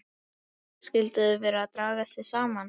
Skyldu þau vera að draga sig saman?